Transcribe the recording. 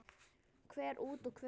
Hver út og hver inn?